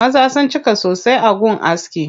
Maza sun cika sosai a gun askin.